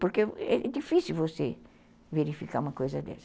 Porque é difícil você verificar uma coisa dessa.